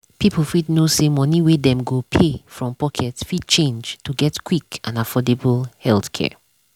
people fit know say money wey dem go pay from pocket fit change to get quick and affordable healthcare.